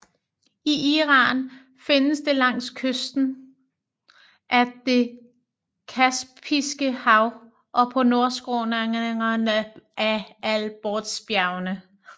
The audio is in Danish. I Iran findes det langs kysten af det Kaspiske hav og på nordskråningerne af Alborzbjergene